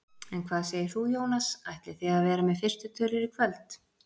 En hvað segir þú Jónas, ætlið þið að vera með fyrstu tölur í kvöld?